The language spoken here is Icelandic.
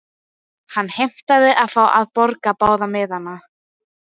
Hann heimtaði að fá að borga báða miðana.